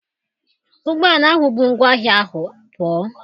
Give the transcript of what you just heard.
Ụgbọala ahụ bu ngwa ahịa ahụ pụọ.